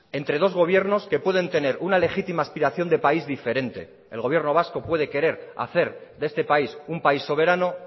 entre dos gobiernos que pueden tener una legítima aspiración de país diferente el gobierno vasco puede querer hacer de este país un país soberano